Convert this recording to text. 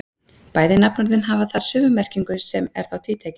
Bæði nafnorðin hafa þar sömu merkingu sem er þá tvítekin.